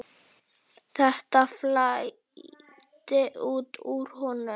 Þetta flæddi út úr honum.